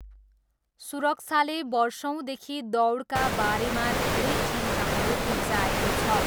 सुरक्षाले वर्षौँदेखि दौडका बारेमा धेरै चिन्ताहरू उब्जाएको छ।